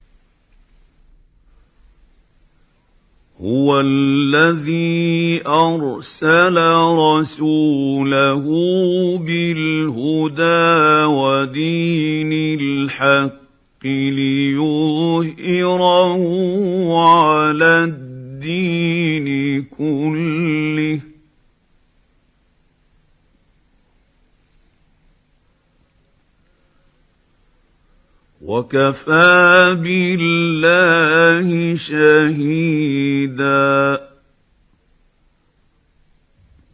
هُوَ الَّذِي أَرْسَلَ رَسُولَهُ بِالْهُدَىٰ وَدِينِ الْحَقِّ لِيُظْهِرَهُ عَلَى الدِّينِ كُلِّهِ ۚ وَكَفَىٰ بِاللَّهِ شَهِيدًا